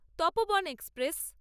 Tapoban express